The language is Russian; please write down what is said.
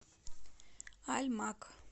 альмак